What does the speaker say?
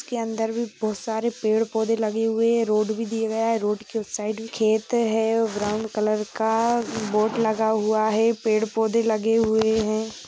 इसके अंदर भी बहुत सारे पेड़ पौधे भी लगे हुए हैं रोड भी दिया गया है रोड के उसे साइड भी खेत है ब्राउन कलर का बोर्ड लगा हुआ है पेड़ पौधे लगे हुए हैं।